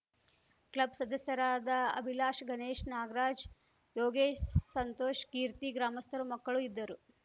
club ಸದಸ್ಯರಾದ ಅಭಿಲಾಷ್ ಗಣೇಶ್ ನಾಗರಾಜ್ ಯೋಗೇಶ್ ಸಂತೋಷ್ ಕೀರ್ತಿ ಗ್ರಾಮಸ್ಥರು ಮಕ್ಕಳು ಇದ್ದರು